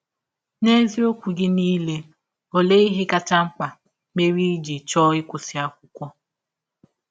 N’eziọkwụ gị niile, ọlee ihe kacha mkpa mere i jị chọọ ịkwụsị akwụkwọ?